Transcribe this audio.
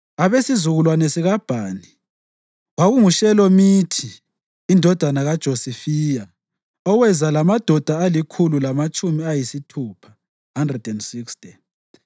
abesizukulwane sikaBhani, kwakunguShelomithi indodana kaJosifiya, oweza lamadoda alikhulu lamatshumi ayisithupha (160),